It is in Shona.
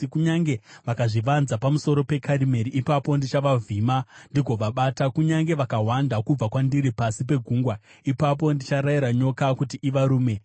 Kunyange vakazvivanza pamusoro peKarimeri, ipapo ndichavavhima ndigovabata. Kunyange vakahwanda kubva kwandiri pasi pegungwa, ipapo ndicharayira nyoka kuti ivarume.